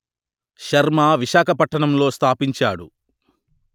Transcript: శర్మ విశాఖపట్టణంలో స్థాపించాడు